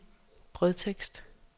brødtekst